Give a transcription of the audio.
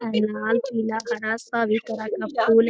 यहाँ लाल पीला हरा सभी तरह का फूल --